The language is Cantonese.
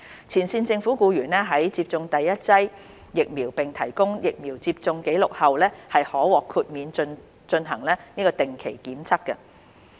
前線政府僱員在接種第一劑疫苗並提供疫苗接種紀錄後，可獲豁免進行定期檢測。